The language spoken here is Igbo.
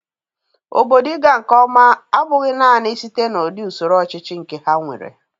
Obodo ị ga nke ọma abụghị nanị site n'udị usoro ọchịchị nke ha nwere.